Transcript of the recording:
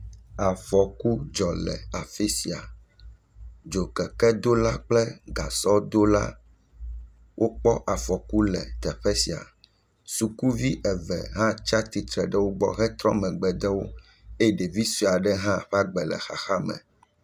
Afɔku dzɔ le afi sia, dzokekedola kple gasɔdola wokpɔ afɔku le teƒe sia, sukuvi eve hã tsatsitre ɖe wo gbɔ hetrɔ megbe de wo eye ɖevi sue aɖe hã ƒe agbe le xaxa me.